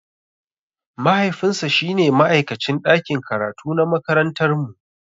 Mahaifinsa shine ma'aikacin ɗakin karatu na makarantarmu.